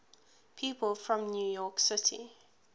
people from new york city